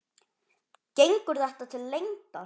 Gengur þetta til lengdar?